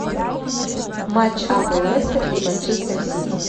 матч апл лестер и манчестер сити